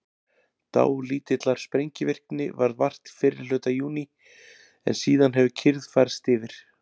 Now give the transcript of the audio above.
Dálítillar sprengivirkni varð vart fyrri hluta júní en síðan hefur kyrrð færst yfir.